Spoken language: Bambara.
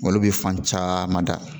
Olu bɛ fan caman da